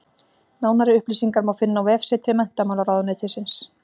Nánari upplýsingar má finna á vefsetri Menntamálaráðuneytisins.